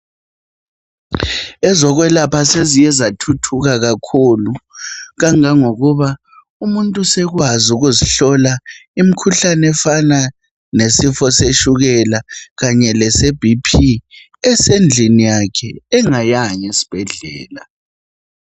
Ezokwlapha seziye zathuthuka kakhulu kangaka ngokuba umuntu sekwazi ukuzihlola imikhuhlane efana lesifo setshukela, ese"BP" ,esendlini yakhe engayanga esibhedlela.